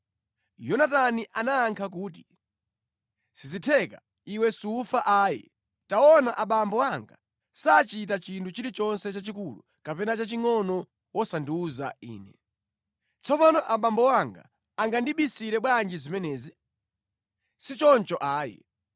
Yonatani anayankha kuti, “Sizitheka! Iwe sufa ayi! Taona abambo anga sachita chinthu chilichonse chachikulu kapena chachingʼono wosandiwuza ine. Tsopano abambo anga angandibisire bwanji zimenezi? Sichoncho ayi.”